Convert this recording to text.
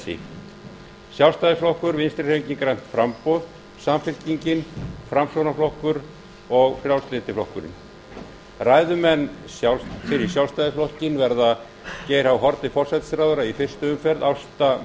þessi sjálfstæðisflokkur vinstri hreyfingin grænt framboð samfylkingin framsóknarflokkur og frjálslyndi flokkurinn ræðumenn fyrir sjálfstæðisflokkinn verða geir h haarde forsætisráðherra í fyrstu umferð ásta möller